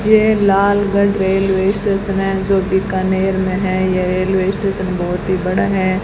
ये Lalgarh railway station है जो बीकानेर में है ये रेलवे स्टेशन बहुत ही बड़ा है।